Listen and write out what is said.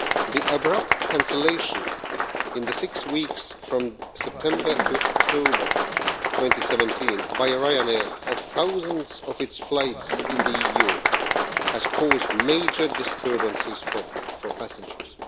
The abrupt cancellation, in the six weeks from September to October 2017, by Ryanair of thousands of its flights in the EU has caused major disturbances for passengers.